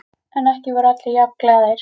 En ekki voru allir jafn glaðir.